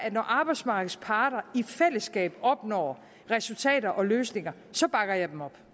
og når arbejdsmarkedets parter i fællesskab opnår resultater og løsninger så bakker jeg dem op